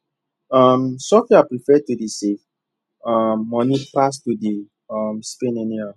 um sophia prefer to dey save um money pass to dey um spend anyhow